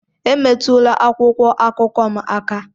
Emetụla akwụkwọ akụkọ m aka!